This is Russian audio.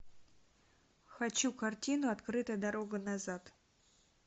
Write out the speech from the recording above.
хочу картину открытая дорога назад